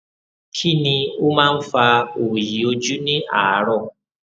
kí ni ó máa ń fa òòyì ojú ní àárọ